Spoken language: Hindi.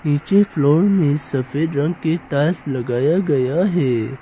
निचे फ्लोर में सफेद रंग के टाईल्स लगाया गया है।